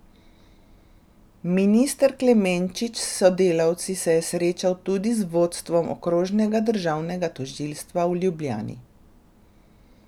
Minister Klemenčič s sodelavci se je srečal tudi z vodstvom Okrožnega državnega tožilstva v Ljubljani.